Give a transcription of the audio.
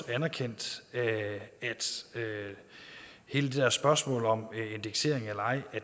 anerkendt at hele det der spørgsmål om indeksering eller ej